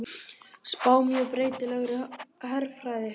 Spá mjög breytilegri herfræði